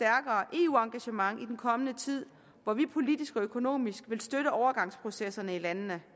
eu engagement i den kommende tid hvor vi politisk og økonomisk vil støtte overgangsprocesserne i landene